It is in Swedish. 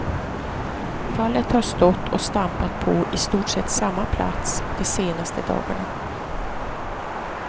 Fallet har stått och stampat på i stort sett samma plats de senaste dagarna.